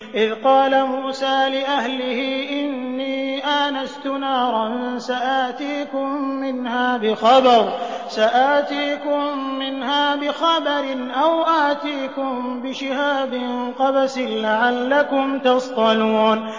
إِذْ قَالَ مُوسَىٰ لِأَهْلِهِ إِنِّي آنَسْتُ نَارًا سَآتِيكُم مِّنْهَا بِخَبَرٍ أَوْ آتِيكُم بِشِهَابٍ قَبَسٍ لَّعَلَّكُمْ تَصْطَلُونَ